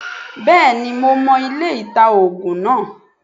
Bẹ́ẹ̀ni mo mo ilé-ita -ògùn náà